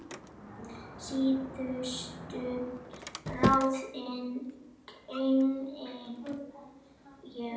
Síðustu ráðin geymi ég.